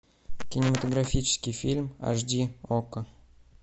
кинематографический фильм аш ди окко